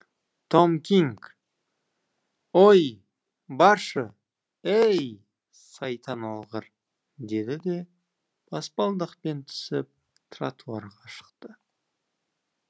том кинг ой баршы ей сайтан алғыр деді де баспалдақпен түсіп тротуарға шықты